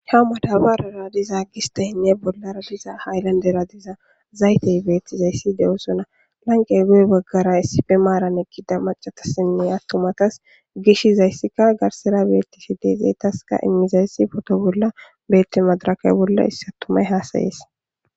ha madabarara diza gistayinne bollara diza haylandera diza zaytey beettizayssi de7osona lanqe goy baggara issife maaran ekida macatasinne attumatas gishizayssika garsira beettisi deezeetaska immizayssi foto bolla beetti madaraka bolla issi attumay haasayees